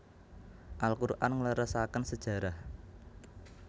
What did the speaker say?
Al Quran ngleresaken sejarah